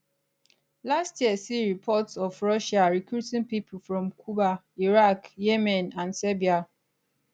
last year see reports of russia recruiting people from cuba iraq yemen and serbia